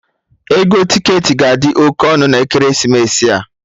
Ego ticketị ga-adi oké ọnụ na ekeresimesi a